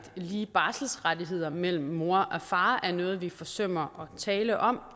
lige barselsrettigheder mellem mor og far er noget vi forsømmer at tale om